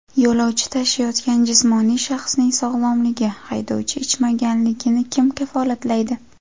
Yo‘lovchi tashiyotgan jismoniy shaxsning sog‘lomligi, haydovchi ichmaganligini kim kafolatlaydi?